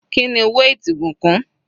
Kíni weight ìbùkún?